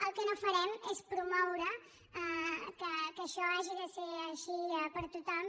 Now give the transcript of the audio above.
el que no farem és promoure que això hagi de ser així per a tothom